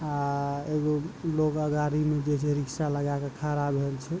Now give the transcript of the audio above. आ एगो लोग अगाड़ी मे जे छै रिक्शा लगा के खड़ा भेल छै ।